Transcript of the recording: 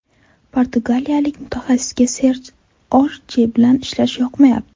Portugaliyalik mutaxassisga Serj Orye bilan ishlash yoqmayapti.